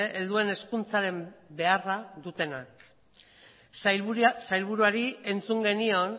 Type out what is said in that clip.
helduen hezkuntzaren beharra dutenak sailburuari entzun genion